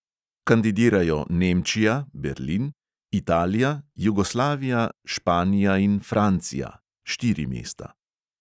Kandidirajo nemčija italija, jugoslavija, španija in francija (štiri mesta).